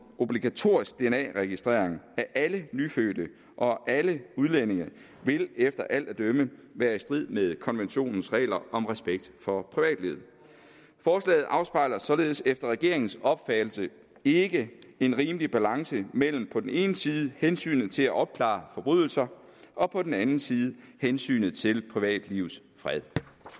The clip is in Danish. obligatorisk dna registrering af alle nyfødte og alle udlændinge vil efter alt at dømme være i strid med konventionens regler om respekt for privatlivet forslaget afspejler således efter regeringens opfattelse ikke en rimelig balance mellem på den ene side hensynet til at opklare forbrydelser og på den anden side hensynet til privatlivets fred